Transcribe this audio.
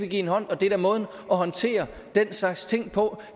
give hende hånden og det er da måden at håndtere den slags ting på